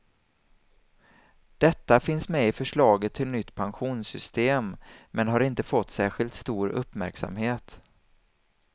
Detta finns med i förslaget till nytt pensionssystem, men har inte fått särskilt stor uppmärksamhet.